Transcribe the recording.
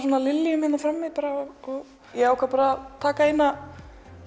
liljum hérna frammi og ég ákvað bara taka eina